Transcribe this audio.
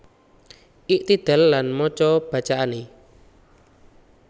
Iktidal lan maca bacaane